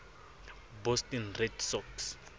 boston red sox